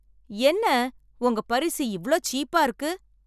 என்ன உங்க பரிசு இவ்ளோ சீப்பா இருக்கு?